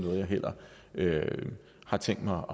har tænkt mig